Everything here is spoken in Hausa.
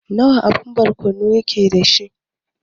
Wana abu barkono yake dashi?